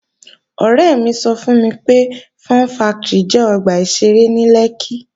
Ọ̀rẹ́ mi sọ fún mi pé, Fun factory jẹ́ ọgbà ìṣeré ní Lẹ́kkí